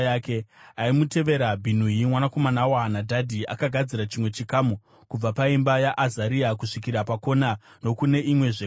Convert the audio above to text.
Aimutevera, Bhinui mwanakomana waHanadhadhi akagadzira chimwe chikamu, kubva paimba yaAzaria kusvikira pakona nokune imwezve kona,